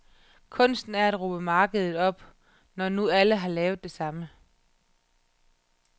Kunsten er at råbe markedet op, når nu alle har lavet det samme.